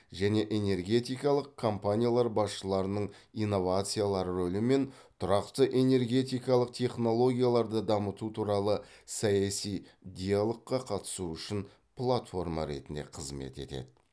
және энергетикалық компаниялар басшыларының инновациялар рөлі мен тұрақты энергетикалық технологияларды дамыту туралы саяси диалогқа қатысуы үшін платформа ретінде қызмет етеді